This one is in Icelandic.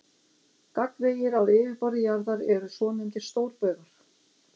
Gagnvegir á yfirborði jarðar eru svonefndir stórbaugar.